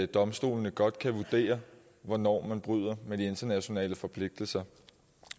domstolene godt kan vurdere hvornår man bryder de internationale forpligtelser